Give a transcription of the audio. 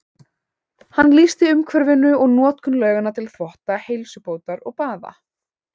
Hann lýsir umhverfinu og notkun lauganna til þvotta, heilsubótar og baða.